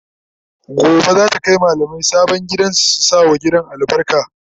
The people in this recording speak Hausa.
Gobe zata Kai mallamai sabon gidan su sa wa gidan albarka